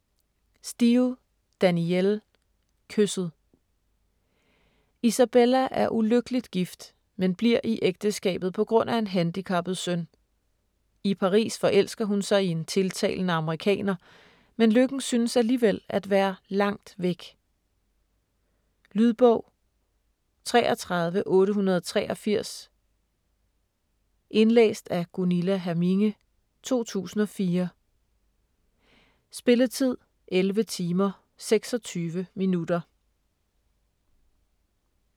Steel, Danielle: Kysset Isabella er ulykkeligt gift, men bliver i ægteskabet p.gr.a. en handicappet søn. I Paris forelsker hun sig i en tiltalende amerikaner, men lykken synes alligevel at være langt væk. Lydbog 33883 Indlæst af Gunilla Herminge, 2004. Spilletid: 11 timer, 26 minutter.